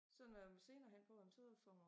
Så når vi senere hen får en tid for når